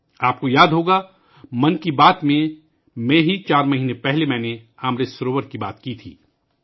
آپ کو یاد ہوگا، چار مہینے پہلے 'من کی بات' میں ہی میں نے امرت سروور کی بات کی تھی